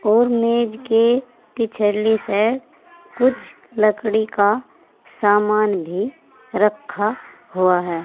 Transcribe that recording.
और मेज के पिछली साइड कुछ लकड़ी का सामान भी रखा हुआ है।